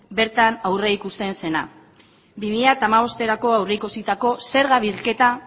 bertan aurreikusten zena bi mila hamabosterako aurreikusitako zerga bilketa